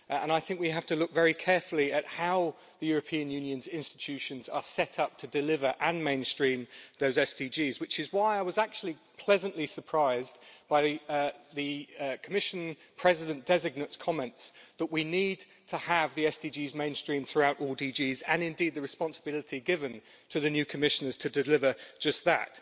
I think we have to look very carefully at how the European Union's institutions are set up to deliver and mainstream those SDGs, which is why I was actually pleasantly surprised by the Commission President designate's comments that we need to have the SDGs mainstreamed throughout all directorates general and the responsibility given to the new Commissioners to deliver just that.